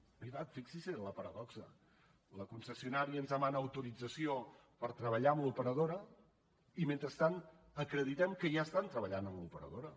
és veritat fixi’s en la paradoxa la concessionària ens demana autorització per treballar amb l’operadora i mentrestant acreditem que ja estan treballant amb l’operadora